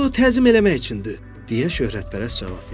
Bu təzim eləmək üçündür, deyə şöhrətpərəst cavab verdi.